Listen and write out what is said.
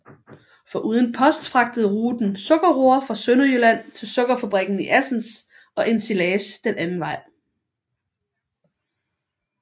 Foruden post fragtede ruten sukkerroer fra Sønderjylland til sukkerfabrikken i Assens og ensilage den anden vej